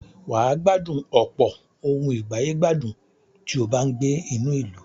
Wà á gbádùn ọ̀pọ̀ ohùn ìgbàyè gbádùn tí ó bá ń gbé inú ìlú.